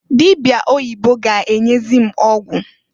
Dịbịa oyibo ga-enyezi m ọgwụ.